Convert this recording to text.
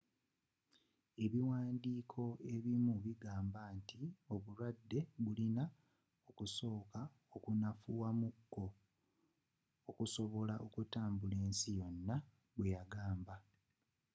ebiwaandiko ebimu bigamba nti obulwadde bulina okusooka okunafuwa mu ko okusobola okutambula ensi yonna bwe yagamba